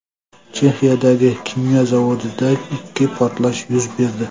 Chexiyadagi kimyo zavodida ikki portlash yuz berdi.